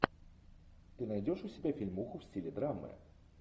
ты найдешь у себя фильмуху в стиле драмы